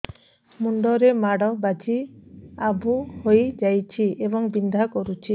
ମୁଣ୍ଡ ରେ ମାଡ ବାଜି ଆବୁ ହଇଯାଇଛି ଏବଂ ବିନ୍ଧା କରୁଛି